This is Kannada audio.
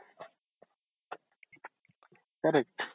correct